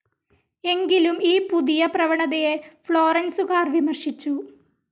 എങ്കിലും ഈ പുതിയ പ്രവണതയെ ഫ്ളോറൻസുകാർ വിമർശിച്ചു.